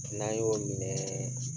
N'an y'o minɛ